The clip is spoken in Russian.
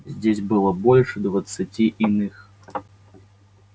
здесь было больше двадцати иных